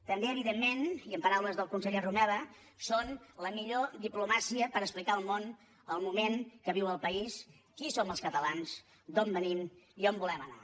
també evidentment i en paraules del conseller romeva són la millor diplomàcia per explicar al món el moment que viu el país qui som els catalans d’on venim i on volem anar